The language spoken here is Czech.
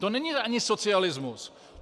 To není ani socialismus.